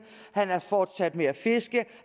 han er fortsat med at fiske